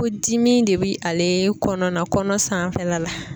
Ko dimi de bi ale kɔnɔna kɔnɔ sanfɛla la